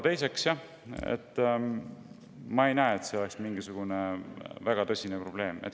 Teiseks, ma ei näe, et see oleks mingisugune väga tõsine probleem.